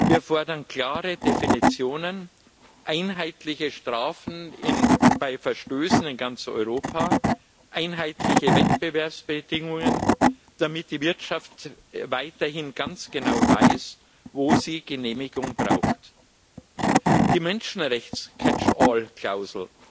Wir fordern klare Definitionen, einheitliche Strafen bei Verstößen in ganz Europa, einheitliche Wettbewerbsbedingungen, damit die Wirtschaft weiterhin ganz genau weiß, wo sie Genehmigungen braucht. Die Catch all Klausel